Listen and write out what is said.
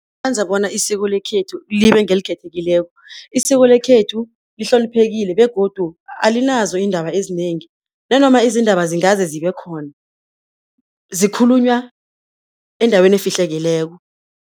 Yenza bona isiko lekhethu libe ngelikhethekileko, isiko lekhethu lihloniphekile, begodu alinazo iindaba ezinengi, nanoma izindaba zingaze zibe khona, zikhulunywa endaweni efihlekileko.